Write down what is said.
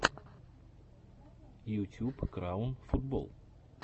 ютюб краун футбол